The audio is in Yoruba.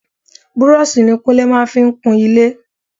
Búrọ́ọ̀sì ní Kúnlé máa ń fi kun ilé.